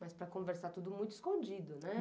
Mas para conversar, tudo muito escondido, né?